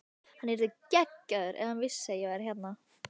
Hann yrði geggjaður ef hann vissi að ég var hérna.